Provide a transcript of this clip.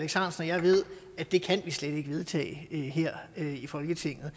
og jeg ved at det kan vi slet ikke vedtage her i folketinget